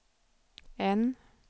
N